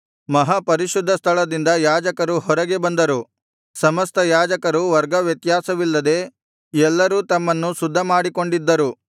ಮಹಾ ಪರಿಶುದ್ಧ ಸ್ಥಳದಿಂದ ಯಾಜಕರು ಹೊರಗೆ ಬಂದರು ಸಮಸ್ತ ಯಾಜಕರು ವರ್ಗವ್ಯತ್ಯಾಸವಿಲ್ಲದೆ ಎಲ್ಲರೂ ತಮ್ಮನ್ನು ಶುದ್ಧಮಾಡಿಕೊಂಡಿದ್ದರು